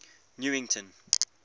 newington